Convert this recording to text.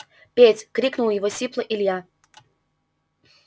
петь крикнул его сипло илья